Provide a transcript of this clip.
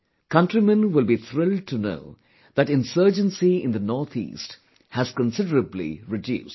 Countrymen will be thrilled to know that insurgency in the NorthEast has considerably reduced